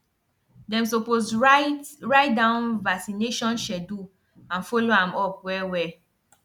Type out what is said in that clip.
them suppose write write down vaccination schedule and follow am up well well